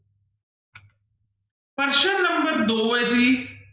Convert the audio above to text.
ਪ੍ਰਸ਼ਨ number ਦੋ ਹੈ ਜੀ